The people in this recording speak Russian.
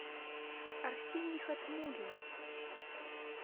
арсений хатмуллин